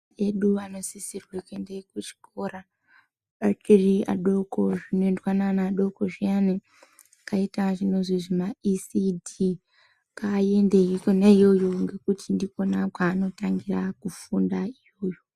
Ana edu anosisirwe kuenda kuchikora ari adoko zvinoendwa neana adoko zviyani. Zvakaita zvinozwi zvimaisidhi ngaaende ikona iyoyo ngekuti ndikona kwaanotangira kufunda iyoyo.